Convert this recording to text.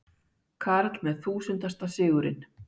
Karl með þúsundasta sigurinn